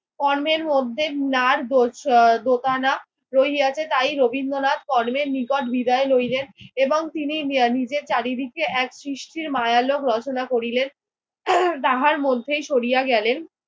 কর্মের মধ্যে নাড়দোষ আহ দোটানা রহিয়াছে। তাই রবীন্দ্রনাথ কর্মের নিকট বিদায় লইলেন এবং তিনি নিজের চারিদিকে এক সৃষ্টির মায়ালোক রচনা করিলেন। তাহার মধ্যে সরিয়া গেলেন।